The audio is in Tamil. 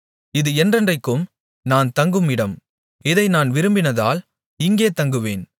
இது என்றென்றைக்கும் நான் தங்கும் இடம் இதை நான் விரும்பினதால் இங்கே தங்குவேன்